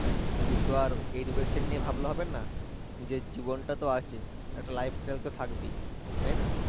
শুধু তো আর education নিয়ে ভাবলে হবে না নিজের জীবনটা তো আছে একটা life style তো থাকবে তাই না